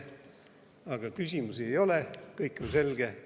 Aga küsimusi ei ole, kõik on selge.